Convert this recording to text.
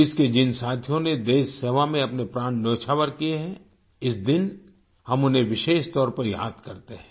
police के जिन साथियों ने देश सेवा में अपने प्राण न्योछावर किए हैं इस दिन हम उन्हें विशेष तौर पर याद करते हैं